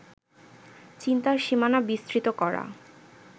চিন্তার সীমানা বিস্তৃত করা